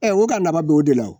Ɛ u ka nafa bɛ o de la.